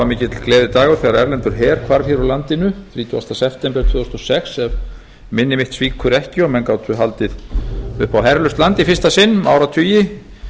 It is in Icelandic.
mikill gleðidagur þegar erlendur her hvarf úr landinu þrítugasta september tvö þúsund og sex ef minni mitt svíkur ekki og menn gátu haldið upp á herlaust land í fyrsta sinn um áratugi